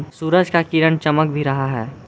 सूरज का किरण चमक भी रहा है।